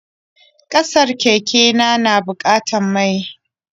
Kacar keken na bukatar mai.